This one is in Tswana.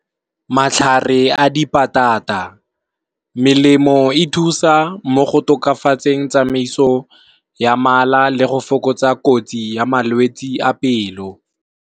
Matlhare a dipatata, melemo e thusa mo go tokafatseng tsamaiso ya mala le go fokotsa kotsi ya malwetsi a pelo.